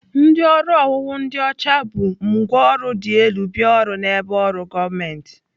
Ndị ọrụ owuwu ndị ọcha bu ngwaọrụ dị elu bịa ọrụ n'ebe ọrụ gọọmentị.